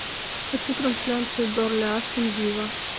хочу трансляцию бернли астон вилла